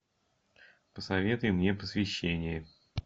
посоветуй мне посвящение